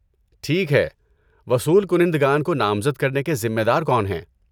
ٹھیک ہے، وصول کنندگان کو نامزد کرنے کے ذمہ دار کون ہیں؟